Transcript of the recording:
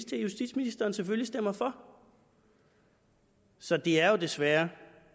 til at justitsministeren selvfølgelig stemmer for så det er jo desværre